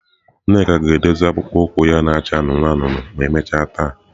Nneka ga-edozi akpụkpọ ụkwụ ya na-acha anụnụ anụnụ ma emechaa taa.